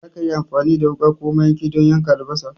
Za ka iya amfani da wuka ko mayanki don yanka albasa.